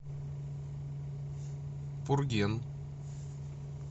пурген